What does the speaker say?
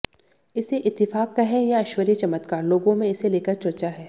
इसे इत्तिफाक कहें या ईश्वरीय चमत्कार लोगों में इसे लेकर चर्चा है